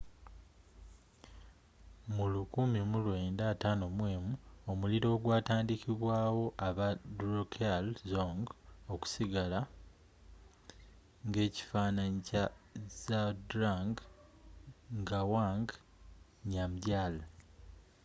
mu 1951 omuliro ogwatandikibwawo aba drukgyal dzong okusigala ng'ekifaananyi kya zhabdrung ngawang namgyal